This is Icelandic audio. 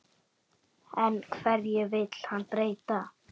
En hverju vill hann breyta?